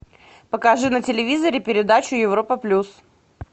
покажи на телевизоре передачу европа плюс